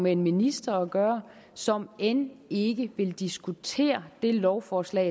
en minister at gøre som end ikke vil diskutere det lovforslag